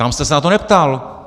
Tam jste se na to neptal.